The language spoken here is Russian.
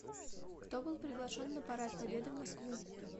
кто был приглашен на парад победы в москву